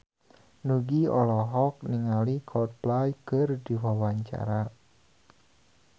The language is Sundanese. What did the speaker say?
Nugie olohok ningali Coldplay keur diwawancara